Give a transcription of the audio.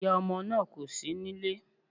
Ìyá ọmọ náà kò sí nílé